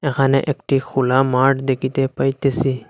এখানে একটি খোলা মাঠ দেখিতে পাইতেসি।